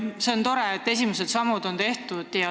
See on tore, et esimesed sammud on tehtud.